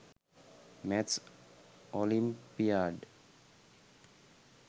maths olympiad